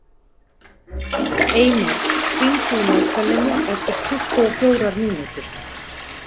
Eymar, hringdu í Magdalenu eftir tuttugu og fjórar mínútur.